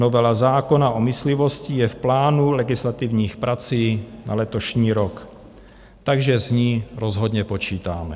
Novela zákona o myslivosti je v plánu legislativních prací na letošní rok, takže s ní rozhodně počítáme.